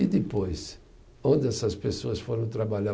E depois, onde essas pessoas foram trabalhar?